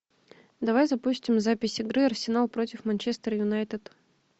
давай запустим запись игры арсенал против манчестер юнайтед